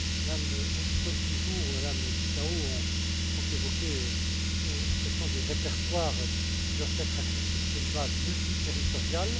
Mme Wikström toujours et Mme Ţicău ont évoqué la question des répertoires qui doivent être accessibles sur une base multiterritoriale.